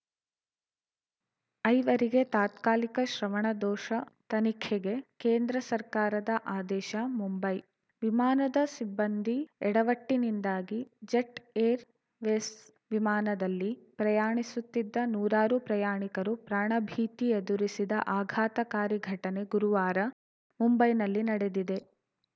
ಐವರಿಗೆ ತಾತ್ಕಾಲಿಕ ಶ್ರವಣದೋಷ ತನಿಖೆಗೆ ಕೇಂದ್ರ ಸರ್ಕಾರದ ಆದೇಶ ಮುಂಬೈ ವಿಮಾನದ ಸಿಬ್ಬಂದಿ ಎಡವಟ್ಟಿನಿಂದಾಗಿ ಜೆಟ್‌ ಏರ್‌ವೇಸ್‌ ವಿಮಾನದಲ್ಲಿ ಪ್ರಯಾಣಿಸುತ್ತಿದ್ದ ನೂರಾರು ಪ್ರಯಾಣಿಕರು ಪ್ರಾಣಭೀತಿ ಎದುರಿಸಿದ ಆಘಾತಕಾರಿ ಘಟನೆ ಗುರುವಾರ ಮುಂಬೈನಲ್ಲಿ ನಡೆದಿದೆ